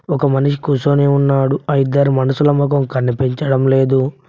ఒక మనిషి కూర్చోని ఉన్నాడు ఆ ఇద్దరి మనుషుల మొఖం కనిపించడం లేదు.